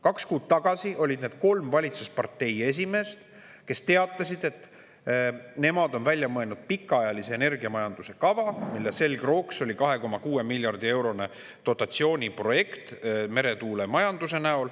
Kaks kuud tagasi olid need kolm valitsuspartei esimeest, kes teatasid, et nemad on välja mõelnud pikaajalise energiamajanduse kava, mille selgrooks on 2,6 miljardi eurone dotatsiooniprojekt meretuulemajandusele.